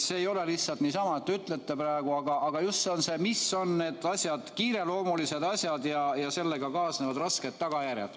See ei ole lihtsalt niisama, et ütlete praegu, vaid see, mis on need asjad, kiireloomulised asjad ja sellega kaasnevad rasked tagajärjed.